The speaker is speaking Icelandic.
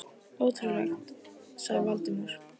Ótrúlegt sagði Valdimar.